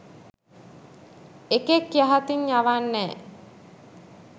එකෙක් යහතින් යවන්නෑ